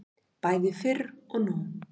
Bæði fyrr og nú.